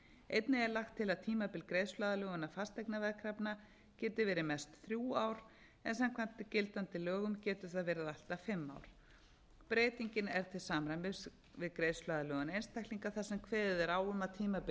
einnig er lagt til að tímabil greiðsluaðlögunar fasteignaveðkrafna geti verið mest þrjú ár en samkvæmt gildandi lögum getur það verið allt að fimm ár breytingin er til samræmis við greiðsluaðlögun einstaklinga þar sem kveðið er á um að tímabil